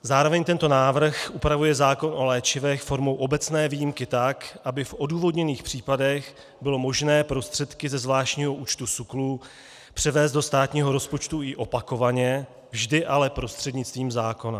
Zároveň tento návrh upravuje zákon o léčivech formou obecné výjimky tak, aby v odůvodněných případech bylo možné prostředky ze zvláštního účtu SÚKLu převést do státního rozpočtu i opakovaně, vždy ale prostřednictvím zákona.